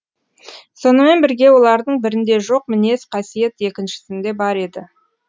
сонымен бірге олардың бірінде жоқ мінез қасиет екіншісінде бар еді